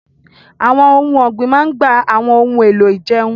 Àwọn ohun ọ̀gbìn máa ń gba àwọn ohun èlò ìjẹun